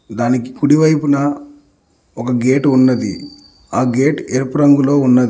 దానికి కుడి వైపున ఒక గేటు ఉన్నది ఆ గేటు ఎరుపు రంగులో ఉన్నది.